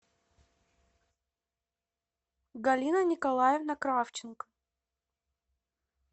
галина николаевна кравченко